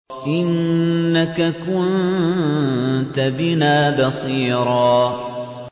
إِنَّكَ كُنتَ بِنَا بَصِيرًا